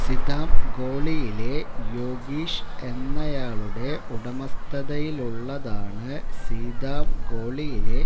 സീതാംഗോളിയിലെ യോഗീഷ് എന്നയാളുടെ ഉടമസ്ഥതയിലുള്ളതാണ് സീതാംഗോളിയിലെ